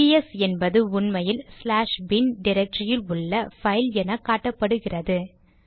பிஎஸ்ps என்பது உண்மையில் slash bin டிரக்டரியில் உள்ள பைல் என காட்டுகிறது